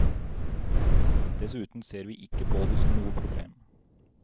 Dessuten ser vi ikke på det som noe problem.